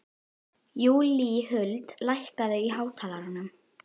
Júlíhuld, lækkaðu í hátalaranum.